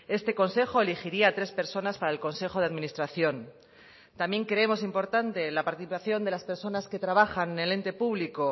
este consejo elegiría a tres personas para el consejo de administración también creemos importante la participación de las personas que trabajan en el ente público